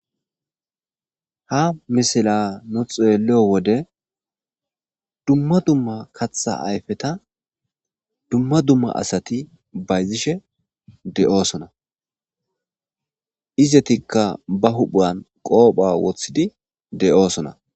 Nu xeelliyo wode dumma dumma kaththa ayfeta dumma dumma asati bayzishe de'osona.izatika ba huuphan qoopha wothidi de'osona.